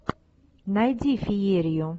найди феерию